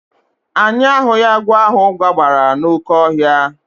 Anyị ahụghị agwọ ahụ gbabara n'oke ọhịa